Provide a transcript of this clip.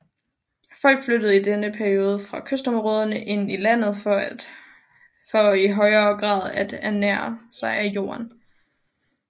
Folk flyttede i denne periode fra kystområderne ind i landet for i højre grad at ernære sig af jorden